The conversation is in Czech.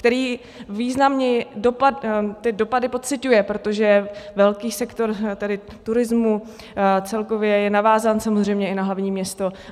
Který významně ty dopady pociťuje, protože velký sektor turismu celkově je navázán samozřejmě i na hlavní město.